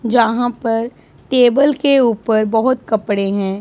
जहां पर टेबल के ऊपर बहुत कपड़े हैं।